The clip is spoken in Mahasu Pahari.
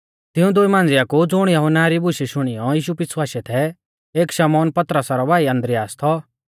तिऊं दुई मांझिया कु ज़ुण यहुन्ना री बुशै शुणियौ यीशु पीछ़ु आशै थै एक शमौन पतरसा रौ भाई आन्द्रियास थौ